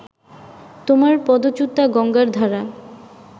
তোমার পদচ্যূতা গঙ্গার ধারা